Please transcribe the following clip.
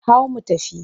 Hau mu tafi!